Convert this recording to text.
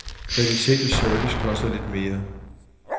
Kvalitet og service koster lidt mere.